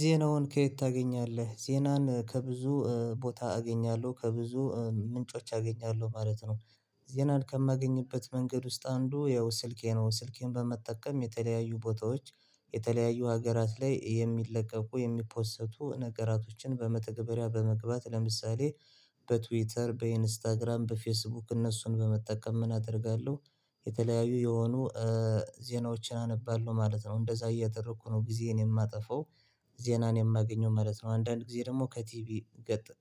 ዜናውን ከየት ታገኛለህ ዜናን ከብዙ ቦታ አገኛለሁ ከብዙ ምንጮች አገኛለሁ ማለት ነው። ዜናን ከማገኝበት መንገድ ውስጥ አንዱ ያው ስልኬ ነው ስልኬን በመጠቀም የተለያዩ ቦታዎች የተለያዩ ሀገራት ላይ የሚለቀቁ የሚፖሰቱ ነገራቶችን በመተግበሪያ በመግባት ለምሳሌ በትዊተር በኢንስታግራም በፌስቡክ እነሱን በመጠቀም ምን አደርጋለሁ የተለያዩ የሆኑ ዜናዎችን አነባለሁ ማለት ነው። እንደዛ እያደረኩ ነው ጊዜን የማጠፋው ዜናን የማገኘው ማለት ነው። አንዳንድ ጊዜ ደግሞ ከቲቪ